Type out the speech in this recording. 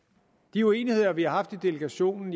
de uenigheder vi har haft i delegationen